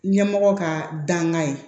Ɲɛmɔgɔ ka dangan ye